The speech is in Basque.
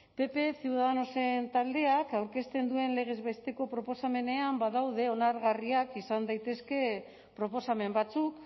pp ciudadanosen taldeak aurkezten duen legez besteko proposamenean badaude onargarriak izan daitezkeen proposamen batzuk